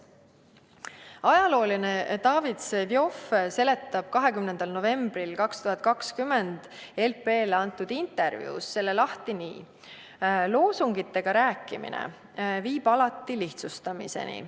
Ajaloolane David Vseviov seletab selle 20. novembril 2020 LP-s ilmunud intervjuus lahti nii: "Loosungitega rääkimine viib alati lihtsustamiseni.